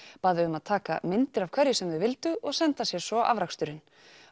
bað þau um að taka myndir af hverju sem þau vildu og senda sér svo afraksturinn